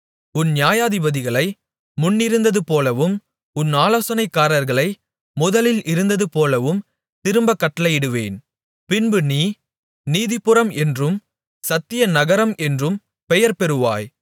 உன் நியாயாதிபதிகளை முன்னிருந்ததுபோலவும் உன் ஆலோசனைக்காரர்களை முதலில் இருந்தது போலவும் திரும்பக் கட்டளையிடுவேன் பின்பு நீ நீதிபுரம் என்றும் சத்திய நகரம் என்றும் பெயர்பெறுவாய்